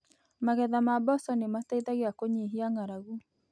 Magetha ma mboco nĩ matethagia kũnyihia ng’aragu.